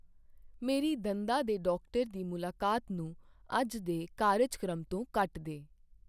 ਮੇਰੀ ਦੰਦਾਂ ਦੇ ਡਾਕਟਰ ਦੀ ਮੁਲਾਕਾਤ ਨੂੰ ਅੱਜ ਦੇ ਕਾਰਜਕ੍ਰਮ ਤੋਂ ਕੱਟ ਦੇ ।